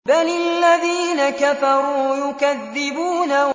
بَلِ الَّذِينَ كَفَرُوا يُكَذِّبُونَ